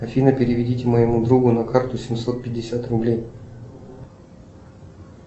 афина переведите моему другу на карту семьсот пятьдесят рублей